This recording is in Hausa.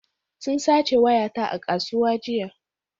Sun sace wayata a kasuwa jiya